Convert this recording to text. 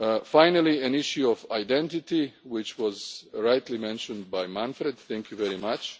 will follow. Finally, an issue of identity, which was rightly mentioned by Manfred, thank you